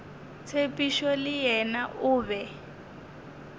tshepišo le yena o be